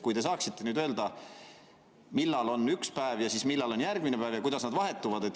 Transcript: Kas te saaksite öelda, millal on üks päev ja millal on järgmine päev ja kuidas nad vahetuvad?